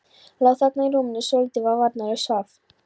Lá þarna í rúminu, svo lítill, svo varnarlaus, svaf.